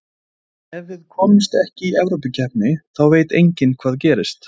En ef við komumst ekki í Evrópukeppni þá veit enginn hvað gerist.